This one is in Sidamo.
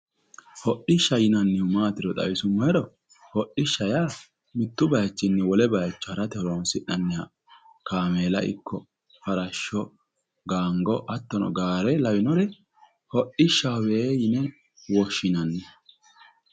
Hodishshaho yinnannihu maatiro xawisuummohero hodishsha yaa mitu bayichinni wole bayicho harate horonsi'nanniha kaameella ikko farasho gango, hattono gaare lawinore hodhishshahowe yinne woshshinanni.